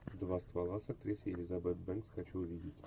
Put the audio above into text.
два ствола с актрисой элизабет бэнкс хочу увидеть